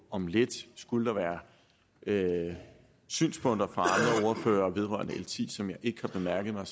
om lidt skulle der være synspunkter fra ordførere vedrørende l ti som jeg ikke har bemærket mig